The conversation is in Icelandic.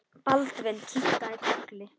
Baldvin kinkaði kolli.